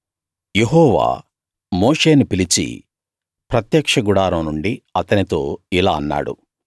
యెహోవా మోషేని పిలిచి ప్రత్యక్ష గుడారం నుండి అతనితో ఇలా అన్నాడు